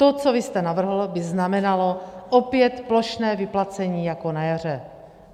To, co vy jste navrhl, by znamenalo opět plošné vyplacení jako na jaře.